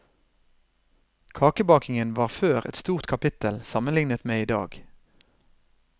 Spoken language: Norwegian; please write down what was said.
Kakebakingen var før et stort kapittel sammenlignet med i dag.